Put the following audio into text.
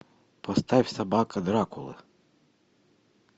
поставь собака дракулы